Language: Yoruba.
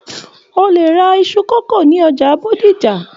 O le ra iṣu kókó ní ọjà Bódìjà.